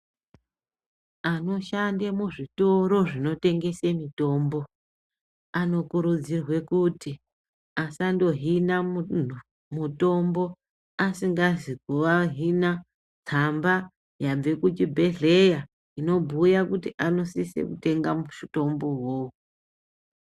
Anoshande muzvitoro zvinotengesa mitombo anokurudzirwa kuti asandohine munhu mutombo asina kuvahina tsamba yabva kuchibhedhlera inobhuye kuti vanosise kutenga mutombo wona uwowo.